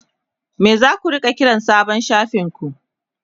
me zaku kira sabon shafin ku?